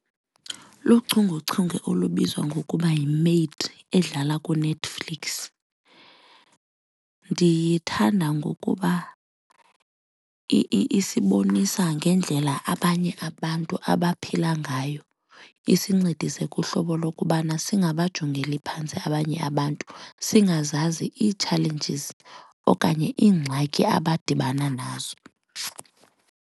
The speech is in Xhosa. Luchungechunge olubizwa ngokuba yiMaid edlala kuNetflix. Ndiyithanda ngokuba isibonisa ngendlela abanye abantu abaphila ngayo isincedise kuhlobo lokubana singabajongelani phantsi abanye abantu singazazi ii-challanges okanye iingxaki abadibana nazo.